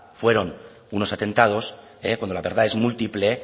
fueron unos atentados cuando la verdad es múltiple